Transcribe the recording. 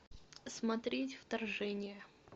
смотреть вторжение